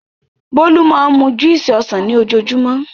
Bólú máa ń mú júúsì ọsàn ni ojoojúmọ́.